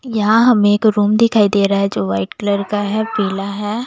यहां हम एक रूम दिखाई दे रहा है जो वाइट कलर का है पीला है।